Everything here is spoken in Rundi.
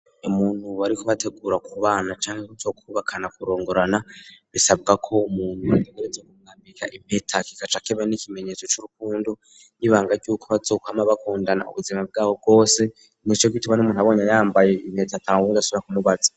Umuntu wari kubategura kubana cyangwa icyo kubakana kurongorana bisabwa ko umuntu ategereza kumwambika impeta kikaca kiba nk,ikimenyetso cy'urukundo n'ibanga ry'uko bazokwama bakundana ubuzima bwabo bwose nico gituma n'umuntu abonye yambaye impeta atawundi asubira kumubaza.